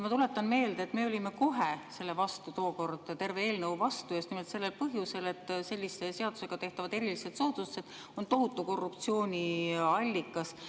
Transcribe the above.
Ma tuletan meelde, et me olime kohe tookord terve selle eelnõu vastu just nimelt sellel põhjusel, et sellised seadusega tehtavad erilised soodustused on tohutu korruptsiooniallikas.